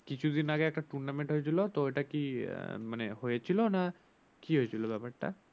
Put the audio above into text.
কিছু দিন আগে একটা tournament হয়েছিল তা ওটাকি আহ মানে হয়েছিল না কি হয়েছিল ব্যাপার তা?